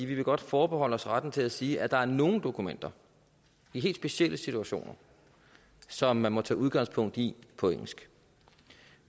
vil godt forbeholde os retten til at sige at der er nogle dokumenter i helt specielle situationer som man må tage udgangspunkt i på engelsk